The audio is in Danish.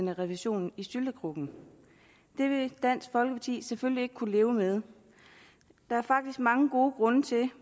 revisionen i syltekrukken det ville dansk folkeparti selvfølgelig ikke kunne leve med der er faktisk mange gode grunde til